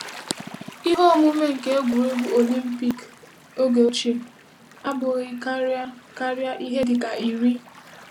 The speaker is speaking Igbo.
Ihe omume nke egwuregwu Olimpik oge ochie abụghịkarị karịa ihe dị ka iri.